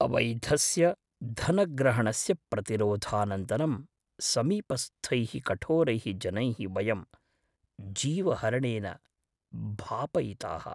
अवैधस्य धनग्रहणस्य प्रतिरोधानन्तरं समीपस्थैः कठोरैः जनैः वयं जीवहरणेन भापयिताः।